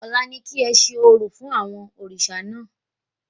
Ọ̀la ni kí ẹ ṣe orò fún àwọn òrìṣà náà